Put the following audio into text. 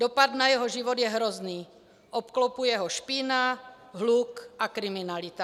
Dopad na jeho život je hrozný, obklopuje ho špína, hluk a kriminalita.